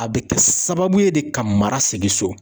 A bɛ kɛ sababu ye de ka mara segin so.